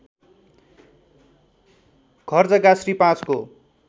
घरजग्गा श्री ५ को